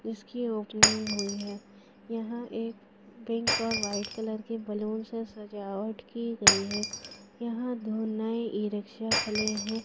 इसकी ओपनिंग हुई हैं यहां एक पिंक और वाइट कलर के बलून से सजावट की गई है यहां दो नए ई रिक्शा खड़े हैं।